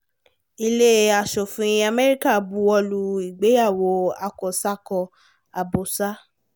ilé asòfin america buwọ́lu ìgbéyàwó àkọ́sàkọ àbọ́sà